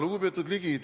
Lugupeetud Ligi!